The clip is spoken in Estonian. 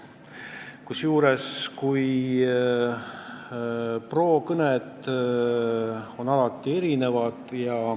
Kusjuures pro-kõned on alati olnud erinevad.